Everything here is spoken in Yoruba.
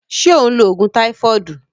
Se o n lo ogun taifodu?